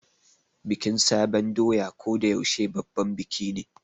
Bikin sabon doya ko da yaushe babban biki ne.